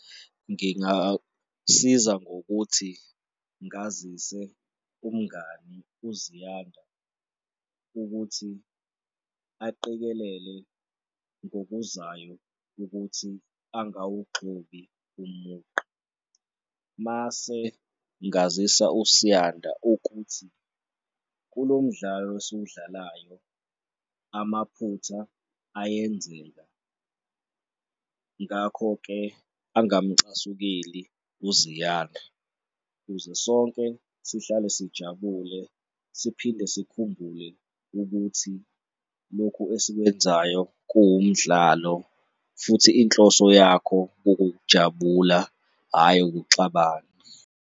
Ngingasiza ngokuthi ngazise umngani uZiyanda ukuthi aqikelele ngokuzayo ukuthi angawugxobi umugqa mase ngazisa uSiyanda ukuthi kulo mdlalo esiwudlalayo, amaphutha ayenzeka. Ngakho-ke, angamcasukeli uZiyanda kuze sonke sihlale sijabule, siphinde sikhumbule ukuthi lokhu esikwenzayo kuwumdlalo futhi inhloso yakho kukukuujabula hhayi ukuxabana.